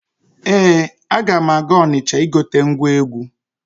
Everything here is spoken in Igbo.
Ee, aga m aga Ọnịcha igote ngwa egwu.